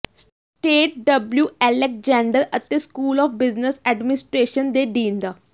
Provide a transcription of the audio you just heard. state W Alexander ਅਤੇ school of business administration ਦੇ dean ਡਾ